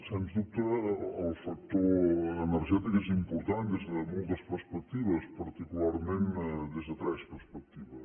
sens dubte el factor energètic és important des de moltes perspectives particularment des de tres perspectives